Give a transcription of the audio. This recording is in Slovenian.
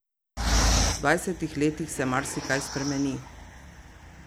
V dvajsetih letih se marsikaj spremeni.